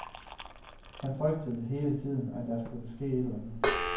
Han frygtede hele tiden, at der kunne ske et eller andet.